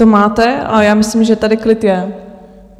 To máte, ale já myslím, že tady klid je.